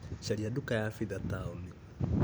Caria nduka ya pitha taũni .